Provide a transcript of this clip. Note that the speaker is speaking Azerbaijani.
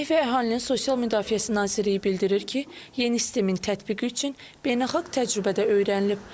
Əmək və Əhalinin Sosial Müdafiəsi Nazirliyi bildirir ki, yeni sistemin tətbiqi üçün beynəlxalq təcrübə də öyrənilib.